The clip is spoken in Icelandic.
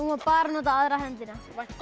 má bara nota aðra hendina